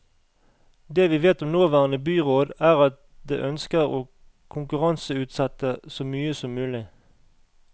Det vi vet om nåværende byråd, er at det ønsker å konkurranseutsette så mye som mulig.